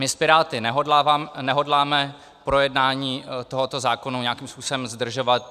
My s Piráty nehodláme projednání tohoto zákona nějakým způsobem zdržovat.